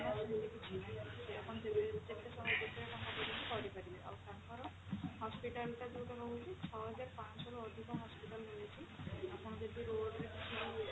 ସେମିତି କିଛି ନାହିଁ ଆପଣ ଯେତେ ସ ଯେତେ ଟଙ୍କା ପର୍ଯ୍ୟନ୍ତ କରିପାରିବେ ଆଉ ତାଙ୍କର hospital ଟା ଯୋଉଟା ରହୁଛି ଛଅ ହଜାର ପାଞ୍ଚ ଶହରୁ ଅଧିକ hospital ରହୁଛି ଆପଣ ଯଦି road ରେ କିଛି